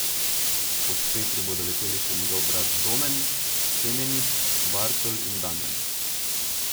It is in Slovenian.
Ob Petru bodo leteli še njegov brat Domen, Semenič, Bartol in Damjan.